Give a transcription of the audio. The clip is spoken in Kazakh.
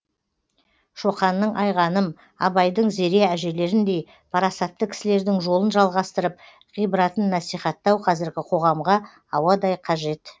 шоқанның айғаным абайдың зере әжелеріндей парасатты кісілердің жолын жалғастырып ғибратын насихаттау қазіргі қоғамға ауадай қажет